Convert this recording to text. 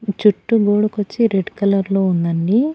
చుట్టూ గోడకొచ్చి red colour లో ఉందండి.